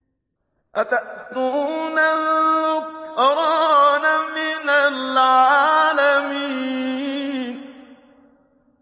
أَتَأْتُونَ الذُّكْرَانَ مِنَ الْعَالَمِينَ